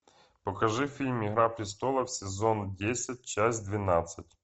покажи фильм игра престолов сезон десять часть двенадцать